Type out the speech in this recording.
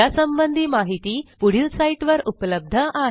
यासंबंधी माहिती पुढील साईटवर उपलब्ध आहे